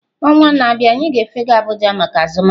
Ọnwa na-abịa, anyị ga-efega abuja maka azụmahịa